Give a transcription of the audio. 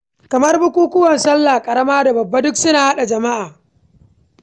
Kamar bukukuwan salla ƙarama da salla babba duk suna haɗa jama'a.